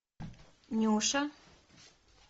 нюша